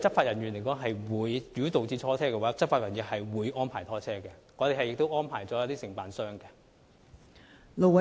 如果有需要拖車的話，執法人員會安排拖車，我們已安排一些承辦商提供服務。